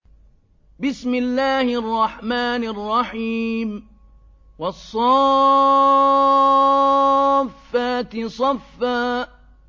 وَالصَّافَّاتِ صَفًّا